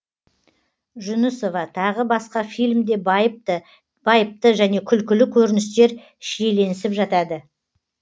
жүнісова тағы басқа фильмде байыпты және күлкілі көріністер шиеленісіп жатады